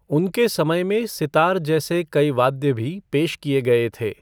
उनके समय में सितार जैसे कई वाद्य भी पेश किए गए थे।